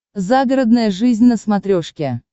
загородная жизнь на смотрешке